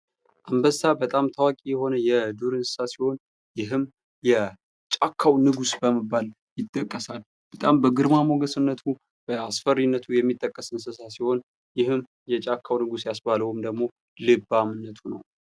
አንበሳ በጣም ታዋቂ የሆነ የዱር እንስሳ ሲሆን ይህም የጫካው ንጉስ በመባል ይጠቀሳል በጣም በግርማ ሞገስነቱ በአስፈሪነቱ የሚጠቀስ እንስሳ ሲሆን ይህም የጫካው ንጉስ ያስባለውም ደግሞ ልባምነቱ ነው ።